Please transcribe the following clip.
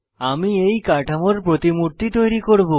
আমি এই কাঠামোর প্রতিমূর্তি তৈরী করব